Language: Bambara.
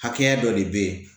Hakɛya dɔ de bɛ ye